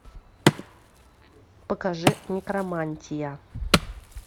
покажи некромантия